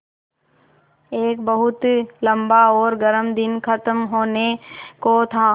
एक बहुत लम्बा और गर्म दिन ख़त्म होने को था